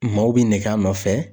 Maaw bɛ nɛgɛ nɔfɛ